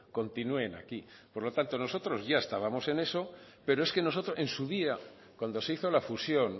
continúen aquí por lo tanto nosotros ya estábamos en eso pero es que nosotros en su día cuando se hizo la fusión